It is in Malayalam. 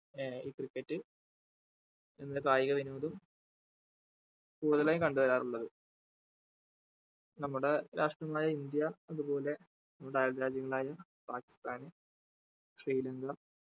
ആഹ് ഈ cricket എന്ന കായിക വിനോദം കൂടുതലായും കണ്ടു വരാറുള്ളത് നമ്മുടെ രാഷ്ട്രമായ ഇന്ത്യ അതുപോലെ നമ്മുടെ അയൽ രാജ്യങ്ങളായ പാകിസ്ഥാന് ശ്രീലങ്ക